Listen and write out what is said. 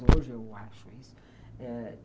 Hoje eu acho isso. Ãh